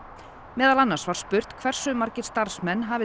meðal annars var spurt hversu margir starfsmenn hafi